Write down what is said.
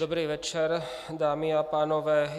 Dobrý večer dámy a pánové.